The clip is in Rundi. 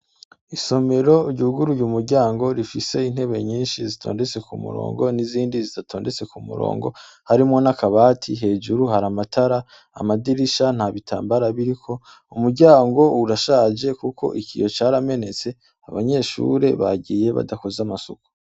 Isomero ryuguruye umuryango rifise intebe nyinshi zitondetswe ku murongo n'izindi zidatondetswe ku murongo harimwo n'akabati, hejuru hari amatara, amadirisha nta bitambara biriko, umuryango urashaje kuko ikiyo caramenetse, abanyeshure bagiye badakoze amasuku.